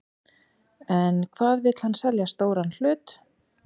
En hvað vill hann selja stóran hlut?